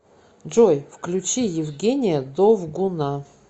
джой включи евгения довгуна